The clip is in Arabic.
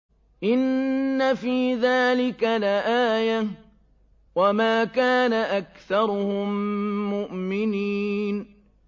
إِنَّ فِي ذَٰلِكَ لَآيَةً ۖ وَمَا كَانَ أَكْثَرُهُم مُّؤْمِنِينَ